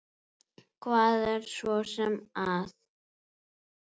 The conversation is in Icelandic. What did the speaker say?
Hvað er svo sem að?